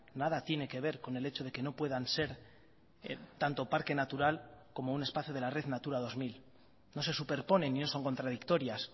nada tiene que ver con el hecho de que no puedan ser tanto parque natural como un espacio de la red natura dos mil no se superponen ni son contradictorias